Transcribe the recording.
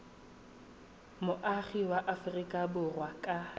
moagi wa aforika borwa ka